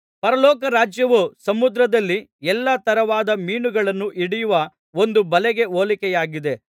ಪರಲೋಕ ರಾಜ್ಯವು ಸಮುದ್ರದಲ್ಲಿ ಎಲ್ಲಾ ತರವಾದ ಮೀನುಗಳನ್ನು ಹಿಡಿಯುವ ಒಂದು ಬಲೆಗೆ ಹೋಲಿಕೆಯಾಗಿದೆ